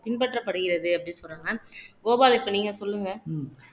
பின்பற்றப்படுகிறது அப்படின்னு சொல்றாங்க கோபால் இப்ப நீங்க சொல்லுங்க